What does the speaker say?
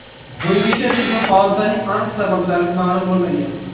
Bungacha ushbu hodisaning aniq sabablari ma’lum bo‘lmagan.